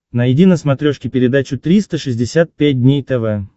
найди на смотрешке передачу триста шестьдесят пять дней тв